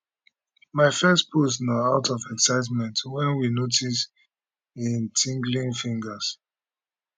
my first post na out of excitement wen we notice im tinglin fingers